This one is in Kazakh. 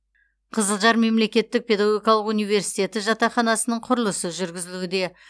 қызылжар мемлекеттік педагогикалық университетін жатақханасының құрылысы жүргізілуде